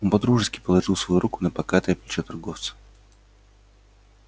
он по-дружески положил свою руку на покатое плечо торговца